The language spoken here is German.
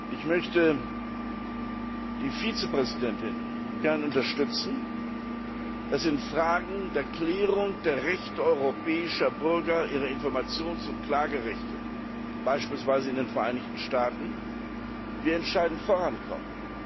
Ich möchte die Vizepräsidentin gerne darin unterstützen, dass wir in Fragen der Klärung der Rechte europäischer Bürger, ihrer Informations und Klagerechte, beispielsweise in den Vereinigten Staaten, entscheidend vorankommen.